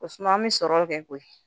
O suma an bɛ sɔrɔ kɛ koyi